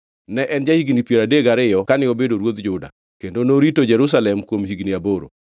Ne en ja-higni piero adek gariyo kane obedo ruodh Juda, kendo norito Jerusalem kuom higni aboro.